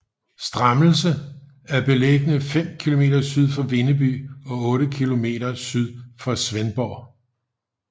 Strammelse er beliggende fem kilometer syd for Vindeby og otte kilometer syd for Svendborg